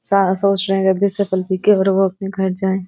अपने घर जाए।